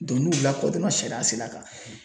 n'u lakɔdɔnna sariya sira kan